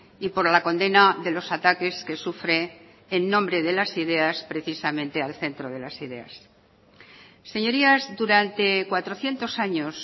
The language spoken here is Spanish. y por la condena de los ataques que sufre en nombre de las ideas precisamente al centro de las ideas señorías durante cuatrocientos años